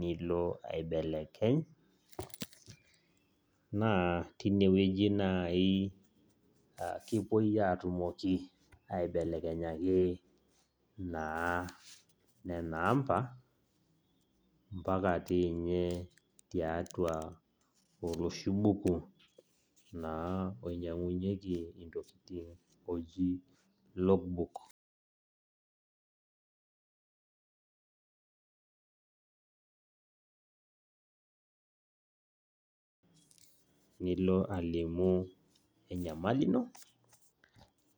nilo aibelekeny, naa tinewueji nai kipuoi atumoki aibelekenyaki naa nena amba, mpaka tinye tiatua oloshi buku naa oinyang'unyeki intokiting oji log book, nilo alimu enyamali ino,